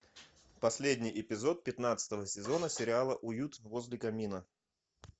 последний эпизод пятнадцатого сезона сериала уют возле камина